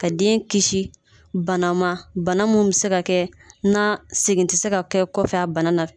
Ka den kisi bana ma bana min bɛ se ka kɛ n'a segin tɛ se ka kɛ kɔfɛ a bana na